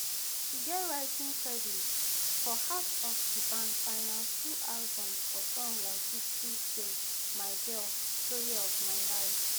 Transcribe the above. e get writing credits for half of di band final two albums for songs like history steal my girl and story of my life